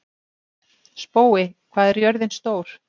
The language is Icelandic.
Spói, hvað er jörðin stór?